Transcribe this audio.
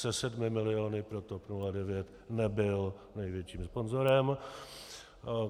Se sedmi miliony pro TOP 09 nebyl největším sponzorem.